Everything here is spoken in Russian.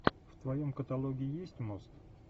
в твоем каталоге есть мост